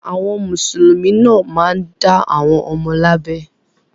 Àwọn Mùsùlùmí náà máa ń dá àwọn ọmọ wọn lábẹ.